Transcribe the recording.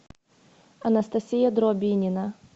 анастасия дробинина